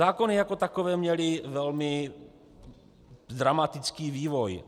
Zákony jako takové měly velmi dramatický vývoj.